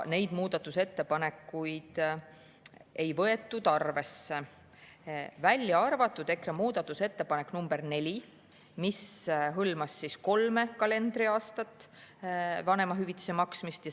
EKRE muudatusettepanekuid ei võetud arvesse, välja arvatud muudatusettepanek nr 4, mis hõlmas kolme kalendriaastat vanemahüvitise maksmist.